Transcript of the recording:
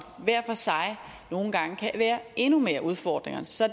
hver for sig nogle gange kan være endnu mere udfordrende så